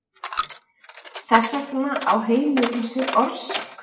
þess vegna á heimurinn sér orsök